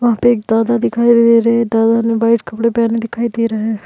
वहाँ पे एक दादा दिखाई दे रहे है दादा ने व्हाइट कपड़े पहने दिखाई दे रहे है।